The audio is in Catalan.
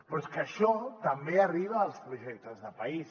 però és que això també arriba als projectes de país